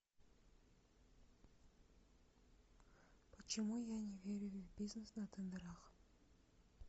почему я не верю в бизнес на тендерах